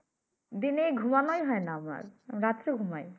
দিনে ঘুমানোই হয় না রাত্রে ‍ঘুমাই।